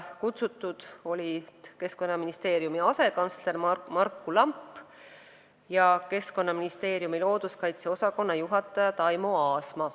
Kutsutud olid Keskkonnaministeeriumi asekantsler Marku Lamp ja Keskkonnaministeeriumi looduskaitse osakonna juhataja Taimo Aasma.